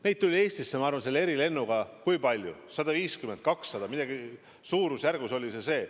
Neid tuli Eestisse, ma arvan, selle erilennuga 150 või 200, suurusjärk oli see.